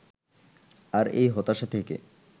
আর এই হতাশা থেকে